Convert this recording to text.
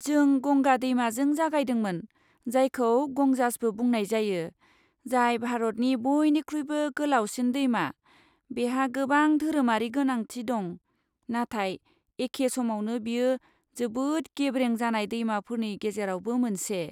जों गंगा दैमाजों जागायदोंमोन, जायखौ गंजासबो बुंनाय जायो, जाय भारतनि बयनिख्रुइबो गोलावसिन दैमा, बेहा गोबां धोरोमारि गोनांथि दं, नाथाय एखे समावनो, बेयो जोबोद गेब्रें जानाय दैमाफोरनि गेजेरावबो मोनसे।